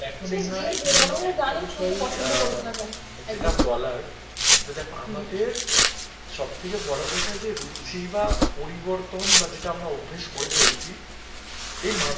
সব থেকে বড় কথা যে রুচি বা পরিবর্তন বা যেটা আমরা অভ্যাস করে ফেলেছি এর মাধ